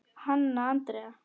Hanna Andrea.